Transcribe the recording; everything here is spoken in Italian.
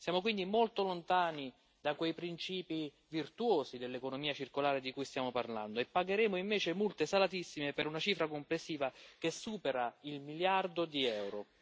Siamo quindi molto lontani da quei principi virtuosi dell'economia circolare di cui stiamo parlando e pagheremo invece multe salatissime per una cifra complessiva che supera il miliardo di euro.